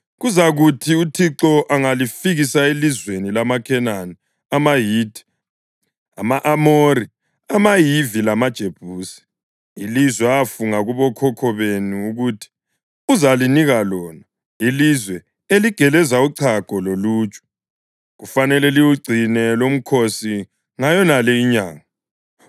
Kuzakuthi uThixo angalifikisa elizweni lamaKhenani, amaHithi, ama-Amori, amaHivi lamaJebusi, ilizwe afunga kubokhokho benu ukuthi uzalinika lona, ilizwe eligeleza uchago loluju, kufanele liwugcine lumkhosi ngayonale inyanga.